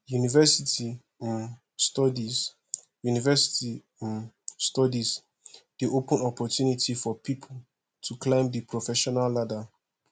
university um studies university um studies dey open opportunity for pipo to climb di professional ladder